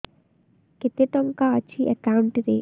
କେତେ ଟଙ୍କା ଅଛି ଏକାଉଣ୍ଟ୍ ରେ